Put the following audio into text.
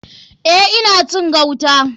Eh ina cin gauta.